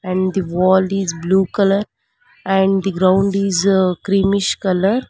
And the wall is blue colour and the ground is creamish colour.